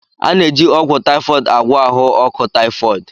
A na-eji ọgwụ typhoid agwọ ahụ ọkụ typhoid.